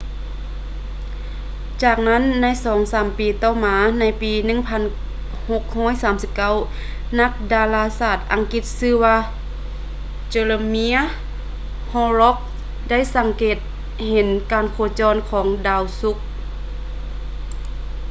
ຈາກນັ້ນໃນສອງສາມປີຕໍ່ມາໃນປີ 1639 ນັກດາລາສາດອັງກິດທີ່ຊື່ວ່າ jeremiah horrocks ໄດ້ສັງເກດເຫັນການໂຄຈອນຂອງດາວສຸກ